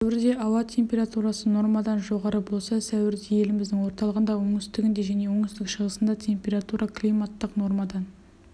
сәуірде ауа температурасы нормадан жоғары болса сәуірде еліміздің орталығында оңтүстігінде және оңтүстік-шығысында температура климаттық нормадан